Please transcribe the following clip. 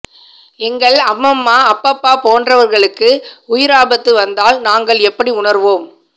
எங்கள் அம்மம்மா அப்பப்பா போன்றவர்களுக்கு உயிராபத்து வந்தால் நாங்கள் எப்படி உணர்வோம்